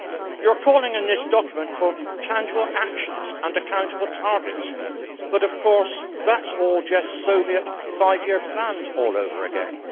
You are calling in this document for tangible actions and accountable targets, but of course that is all just Soviet five year plans all over again.